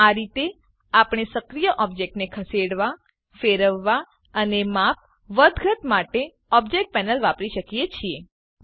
તો આ રીતે આપણે સક્રીય ઓબજેક્ટને ખસેડવાં ફેરવવાં અને માપ વધઘટ માટે ઓબ્જેક્ટ પેનલ વાપરી શકીએ છીએ